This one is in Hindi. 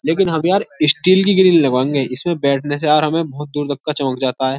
लेकिन हम यार स्टील की ग्रिल लगवाएंगे। इसमें बैठने से यार हमे बहोत दूर का चमक जाता है।